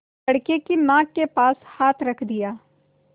लड़के की नाक के पास हाथ रख दिया